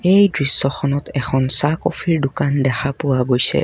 এই দৃশ্যখনত এখন চাহ কফিৰ দোকান দেখা পোৱা গৈছে।